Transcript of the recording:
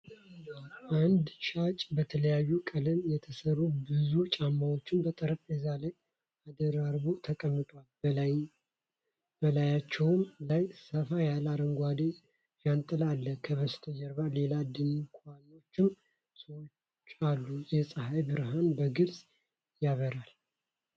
አንድ ሻጭ በተለያዩ ቀለማት የተሰሩ ብዙ ጫማዎችን በጠረጴዛ ላይ አደራርቦ ተቀምጧል። በላያቸው ላይ ሰፋ ያለ አረንጓዴ ዣንጥላ አለ፤ ከበስተጀርባ ሌሎች ድንኳኖችና ሰዎች አሉ። የፀሐይ ብርሃን በግልጽ ያበራል።